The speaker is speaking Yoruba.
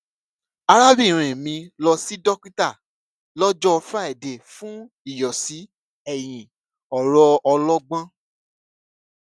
arábìnrin mi lọ sí dókítà lọjọ friday fún ìyọsí eyín ọrọ ọlọgbọn